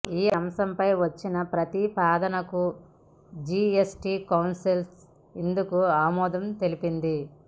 ఈ అంశంపై వచ్చిన ప్రతిపాదనకు జీఎస్టీ కౌన్సిల్ ఇందుకు ఆమోదం తెలిపింది